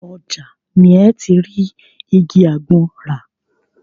Ọjà ni ẹ́ ti rí igi àgbọn rà.